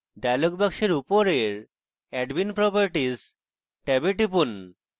dialog box উপরের admin properties ট্যাবে টিপুন